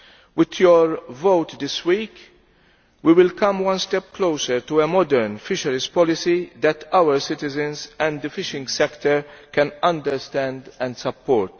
With your vote this week we will come one step closer to a modern fisheries policy that our citizens and the fishing sector can understand and support.